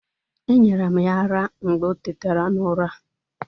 E nyere m ya ara mgbe o tetera n'ura.